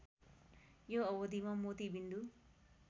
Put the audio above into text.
यो अवधिमा मोती बिन्दु